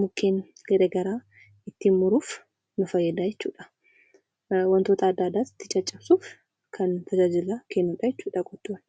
mukeen garagaraa ittin muruuf nu fayyada jechuudha.